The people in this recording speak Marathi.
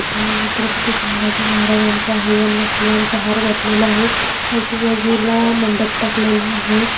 छत्रपति संभाजी महाराजांचा आहे यांना फुलांचा हार घातलेला आहे आजुबाजूला मंडप टाकलेला आहे.